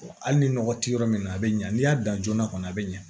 hali ni nɔgɔ tɛ yɔrɔ min na a bi ɲɛ n'i y'a dan joona kɔni a bi ɲɛ